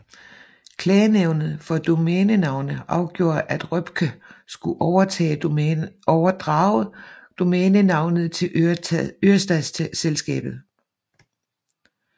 Klagenævnet for Domænenavne afgjorde at Røpke skulle overdrage domænenavnet til Ørestadsselskabet